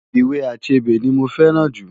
Ìwé Achebe ni mo fẹ́ràn jù.